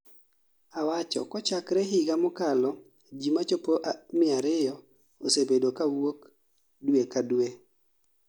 "Awacho kochakre higa mokalo jii machopo 200 osebedo kaa wuok due kadue